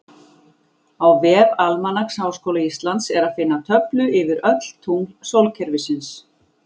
Á vef Almanaks Háskóla Íslands er að finna töflu yfir öll tungl sólkerfisins.